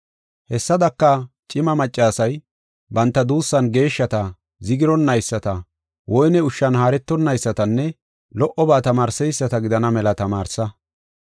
Hessadaka, cima maccasay banta duussan geeshshata, zigironnayisata, woyne ushshan haaretonnaysatanne lo77oba tamaarseyisata gidana mela tamaarsa.